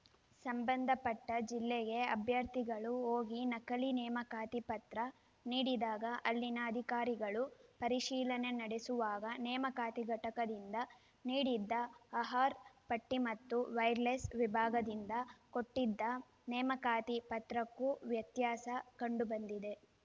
ಸಂಬಂಧಪಟ್ಟಜಿಲ್ಲೆಗೆ ಅಭ್ಯರ್ಥಿಗಳು ಹೋಗಿ ನಕಲಿ ನೇಮಕಾತಿ ಪತ್ರ ನೀಡಿದಾಗ ಅಲ್ಲಿನ ಅಧಿಕಾರಿಗಳು ಪರಿಶೀಲನೆ ನಡೆಸುವಾಗ ನೇಮಕಾತಿ ಘಟಕದಿಂದ ನೀಡಿದ್ದ ಅರ್ಹ ಪಟ್ಟಿಮತ್ತು ವೈರ್‌ಲೆಸ್‌ ವಿಭಾಗದಿಂದ ಕೊಟ್ಟಿದ್ದ ನೇಮಕಾತಿ ಪತ್ರಕ್ಕೂ ವ್ಯತ್ಯಾಸ ಕಂಡುಬಂದಿದೆ